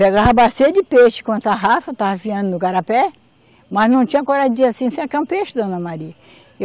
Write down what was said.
Pegava a bacia de peixe com a tarrafa, tarrafiando no garapé, mas não tinha coragem de dizer assim, a senhora quer um peixe, dona Maria.